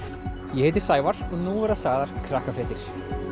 ég heiti Sævar og nú verða sagðar Krakkafréttir